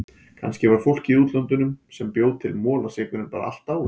Kannski var fólkið í útlöndunum sem bjó til molasykurinn bara allt dáið.